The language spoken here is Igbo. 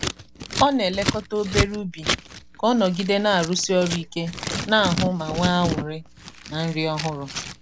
ọ na-elekọta obere ubi ka ọ nọgide na-arụsi ọrụ ike n'ahụ ma nwee anụrị na nri ọhụrụ.